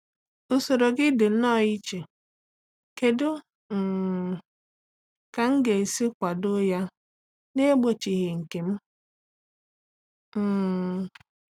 Usoro gị dị nnọọ iche; kedu um ka m ga-esi kwado ya n'egbochighị nke m? um